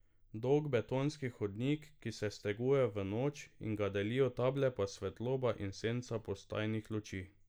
Dolg betonski hodnik, ki se steguje v noč in ga delijo table pa svetloba in senca postajnih luči.